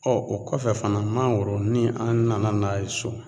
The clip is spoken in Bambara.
o kɔfɛ fana mangoro ni an nana n'a ye so